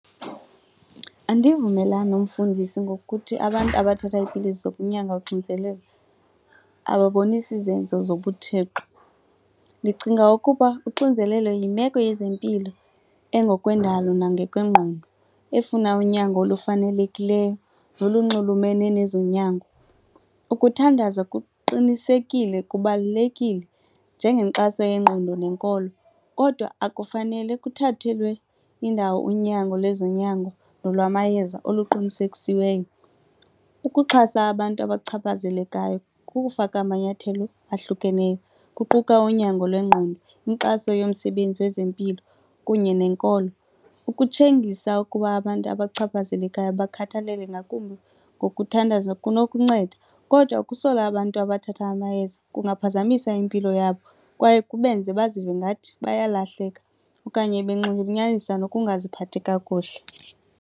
Andivumelani umfundisi ngokuthi abantu abathatha iipilisi zokunyanga uxinizelelo ababonisi zinzo zobuThixo. Ndicinga ukuba uxinzelelo yimeko yezempilo engokwendalo nangokwengqondo efuna unyango olufanelekileyo nolunxulumane nezonyango. Ukuthandaza kuqinisekile, kubalulekile njengenkxaso yengqondo nenkolo kodwa akufanele kuthathelwe indawo unyango lweezonyango nolwamayeza oluqinisekisiweyo. Ukuxhasa abantu abachaphazelekayo kukufaka amanyathelo ahlukeneyo kuquka unyango lwengqondo, inkxaso yomsebenzi wezempilo kunye nenkolo. Ukutshengisa ukuba abantu abachaphazelekayo bakhathalelwe ngakumbi ngokuthandaza kunokunceda kodwa ukusola abantu abathatha amayeza kungaphazamisa impilo yabo kwaye kubenze bazive ngathi bayalahleka okanye benxulunyanyiswa nokungaziphathi kakuhle.